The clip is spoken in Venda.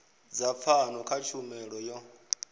dza pfano kha tshumelo yo